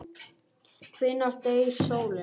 Hvenær deyr sólin?